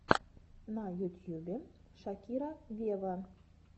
на ютьюбе шакира вево